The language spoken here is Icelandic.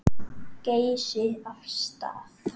Geysi af stað.